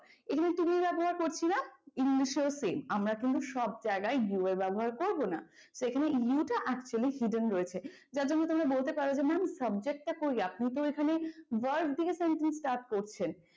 english এ ও same আমরা কিন্তু সব জায়গায় you এর ব্যবহার করব না তো এখানে you টা actually hidden রয়েছে যার জন্য তোমরা বলতে পারো যে mam subject টা কই আপনি তো ওইখানে verb থেকে sentence start করছেন।